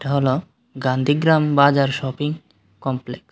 হল গান্ধীগ্রাম বাজার shopping complex.